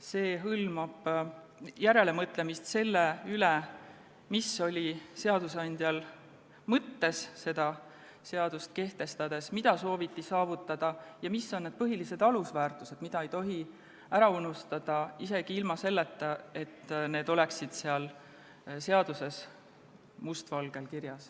See hõlmab järelemõtlemist selle üle, mis oli seadusandjal mõttes seadust kehtestades, mida sooviti saavutada ja mis on need põhilised alusväärtused, mida ei tohi ära unustada, isegi kui need ei ole seaduses must valgel kirjas.